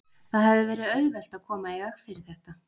Það hefði verið auðvelt að koma í veg fyrir þetta.